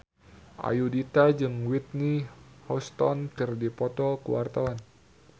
Ayudhita jeung Whitney Houston keur dipoto ku wartawan